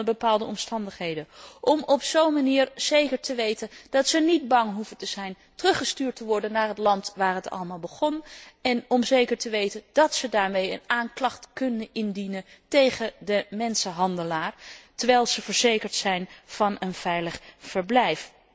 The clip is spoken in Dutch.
Wel onder bepaalde omstandigheden om op zo'n manier te waarborgen dat ze niet bang hoeven te zijn teruggestuurd te worden naar het land waar het allemaal begon en om ervoor te zorgen dat ze een aanklacht kunnen indienen tegen de mensenhandelaar, terwijl ze verzekerd zijn van een veilig verblijf.